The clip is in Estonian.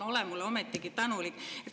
Olge mulle ometigi tänulikud!